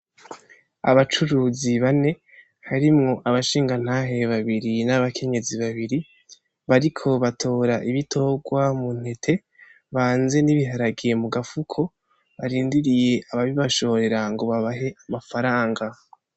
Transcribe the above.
Abacuruzi bane harimwo abashingantahe babiri n’abankenyezi babiri bariko batora ibitorwa mu ntete banze n’ibiharage mu gafuko barindiriye ababibashorera ngo babahe amafaranga.